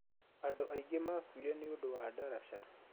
Andũ aingĩ makuire nĩũndũ wa ndaraca